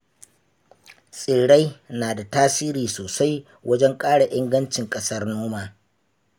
Tsirrai na da tasiri sosai wajen ƙara ingancin ƙasar noma.